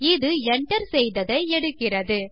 இது enter செய்ததை எடுக்கிறது